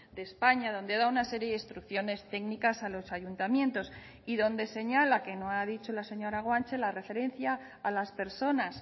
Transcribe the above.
de españa donde da una serie de instrucciones técnicas a los ayuntamientos y donde señala que no ha dicho la señora guanche la referencia a las personas